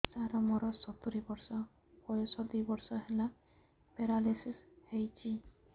ସାର ମୋର ସତୂରୀ ବର୍ଷ ବୟସ ଦୁଇ ବର୍ଷ ହେଲା ପେରାଲିଶିଶ ହେଇଚି